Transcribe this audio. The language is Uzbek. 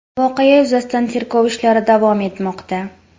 Voqea yuzasidan tergov ishlari davom etmoqda.